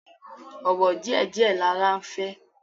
Ọ̀wọ̀ díẹ̀ díẹ̀ lara ń fẹ́